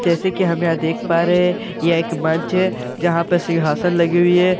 जैसे की हम यहाँ देख पा रहे हैं यह एक मंच है जहां पे सिंहासन लगी हुई है उस--